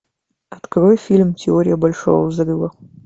открой фильм теория большого взрыва